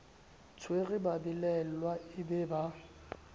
tshware babelaelwa e be ba